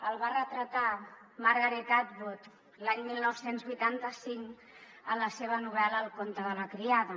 el va retratar margaret atwood l’any dinou vuitanta cinc en la seva novel·la el conte de la criada